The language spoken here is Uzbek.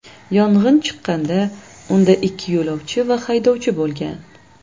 Yong‘in chiqqanda unda ikki yo‘lovchi va haydovchi bo‘lgan.